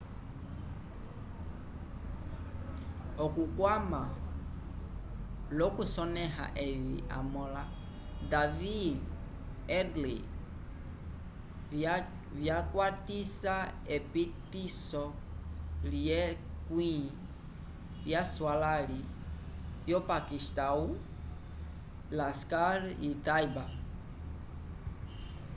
okukwama l'okusonẽha evi amõla david headley vyakwatisa epitiso lyekwĩ lyaswalãli vyopakistãwu laskhar-e-taiba